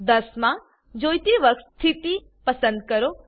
10 માં જોઈતી વર્ગ સ્થિતિ પસંદ કરો